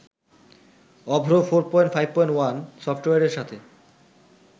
অভ্র ৪.৫.১ সফটওয়্যারের সাথে